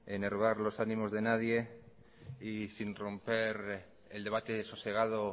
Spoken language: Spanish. de enervar los ánimos de nadie y sin romper el debate sosegado